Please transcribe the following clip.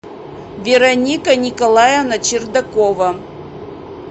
вероника николаевна чердакова